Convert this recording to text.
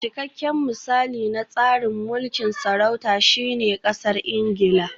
Cikakken misali na tsarin mulkin sarauta shine Ƙasar Ingila